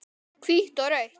Hvítt og rautt.